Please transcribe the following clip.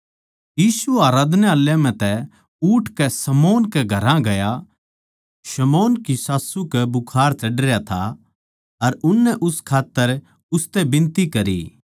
यीशु आराधनालय म्ह तै उठकै शमौन कै घरां गया शमौन की सास्सू कै बुखार चढ़रया था अर उननै उस खात्तर उसतै बिनती करी